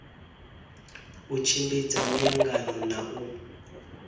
u tshimbidza miangano na u